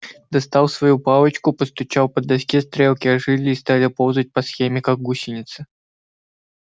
достал свою палочку постучал по доске стрелки ожили и стали ползать по схеме как гусеницы